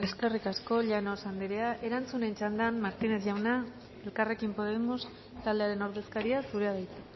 eskerrik asko llanos anderea erantzunen txanda martínez jauna elkarrekin podemos taldearen ordezkaria zurea da hitza